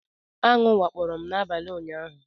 Aṅụ wakporo m n'abalị ụnyaahụ.